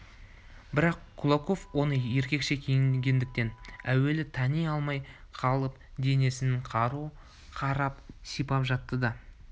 бірақ кулаков оны еркекше киінгендіктен әуелі тани алмай қалып денесінен қару қарап сипап жатты да